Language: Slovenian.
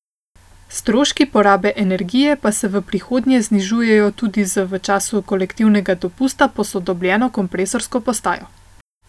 Stroški porabe energije pa se v prihodnje znižujejo tudi z v času kolektivnega dopusta posodobljeno kompresorsko postajo.